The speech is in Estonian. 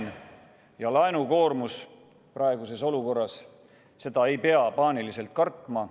Laen ja laenukoormus praeguses olukorras – seda ei pea paaniliselt kartma.